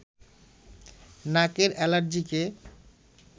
নাকের এলার্জিকে